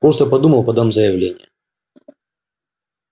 просто подумал подам заявление